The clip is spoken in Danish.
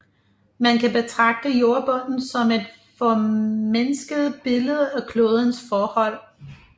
Man kan betragte jordbunden som et formindsket billede af klodens forhold